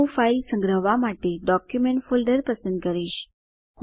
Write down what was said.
હું ફાઈલ સંગ્રહવા માટે ડોક્યુમેન્ટ ફોલ્ડર પસંદ કરીશ